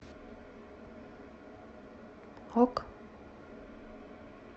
ок